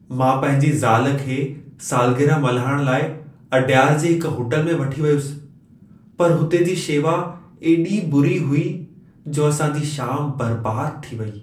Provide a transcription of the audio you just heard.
मां पंहिंजी ज़ाल खे सालगिरह मल्हाइण लाइ अडयार जी हिक होटल में वठी वियुसि। पर हुते जी शेवा एॾी बुरी हुई, जो असां जी शाम बर्बाद थी वई।